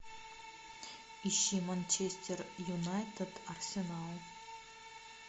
ищи манчестер юнайтед арсенал